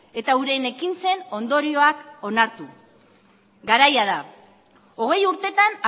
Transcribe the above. eta euren ekintzen ondorioak onartu garaia da hogei urtetan